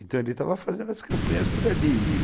Então ele estava fazendo as campanhas